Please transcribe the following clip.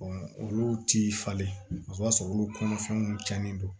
olu ti falen o b'a sɔrɔ olu kɔnɔfɛnw tiɲɛnen don